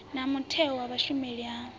na mutheo wa vhushumeli ha